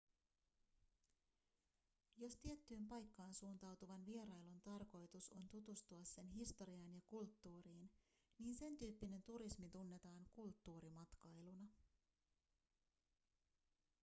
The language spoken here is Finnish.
jos tiettyyn paikkaan suuntautuvan vierailun tarkoitus on tutustua sen historiaan ja kulttuuriin niin sentyyppinen turismi tunnetaan kulttuurimatkailuna